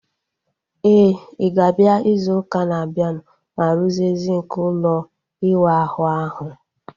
Éè, I ga-abịa izu ụka na abianu ma ruzie sinki ụlọ iwu ahụ ahu